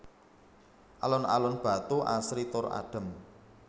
Alun alun Batu asri tur adem